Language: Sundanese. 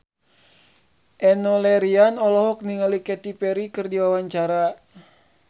Enno Lerian olohok ningali Katy Perry keur diwawancara